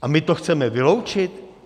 A my to chceme vyloučit?